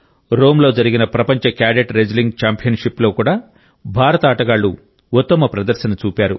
రోమ్లో జరిగిన ప్రపంచ cadet wrestling ఛాంపియన్షిప్లో కూడా భారత ఆటగాళ్లు ఉత్తమ ప్రదర్శన చూపారు